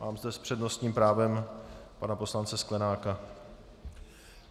Mám zde s přednostním právem pana poslance Sklenáka.